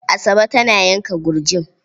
Asabe tana yanka gurjin.